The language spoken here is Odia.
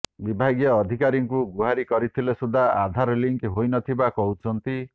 ବିଭାଗୀୟ ଅଧିକାରୀଙ୍କୁ ଗୁହାରି କରିଥିଲେ ସୁଦ୍ଧା ଆଧାର ଲିଙ୍କ ହୋଇନଥିବା କହୁଛନ୍ତି